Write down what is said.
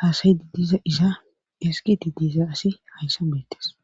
haasaydi diiza iza esgiti diisa asi hayssa beettes